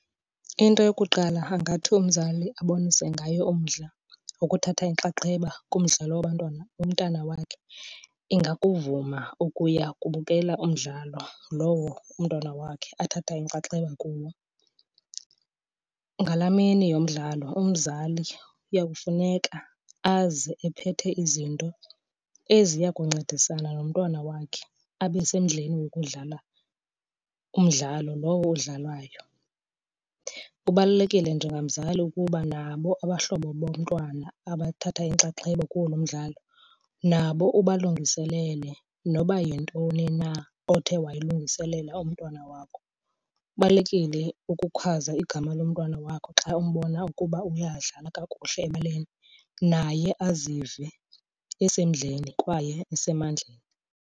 Into yokuqala angathi umzali abonise ngayo umdla wokuthatha inxaxheba kumdlalo womntana wakhe, ingakuvuma ukuya kubukela umdlalo lowo umntwana wakhe athatha inxaxheba kuwo. Ngalaa mini yomdlalo umzali kuya kufuneka aze ephethe izinto eziya kuncedisana nomntwana wakhe abe semdleni wokudlala umdlalo lowo udlalwayo. Kubalulekile njengamzali ukuba nabo abahlobo bomntwana abathatha inxaxheba kuwo lo mdlalo nabo ubalungiselele noba yintoni na othe wayilungiselela umntwana wakho. Kubalulekile ukukhwaza igama lomntwana wakho xa umbona ukuba uyadlala kakuhle ebaleni, naye azive esemdleni kwaye esemandleni.